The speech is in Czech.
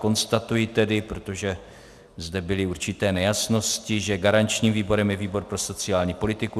Konstatuji tedy, protože zde byly určité nejasnosti, že garančním výborem je výbor pro sociální politiku.